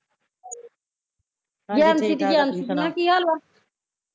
ਜੈਨਸੀ ਦੀ ਜੈਨਸੀ ਮੈਂ ਕਿਹਾ ਕੀ ਹਾਲ ਵਾਂ